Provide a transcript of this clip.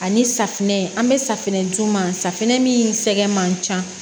Ani safinɛ an bɛ safunɛ d'u ma safinɛ min sɛgɛn man ca